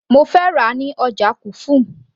mo fẹ́ rà á ní ọjà kufum